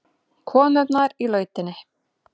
Konurnar í lautinni.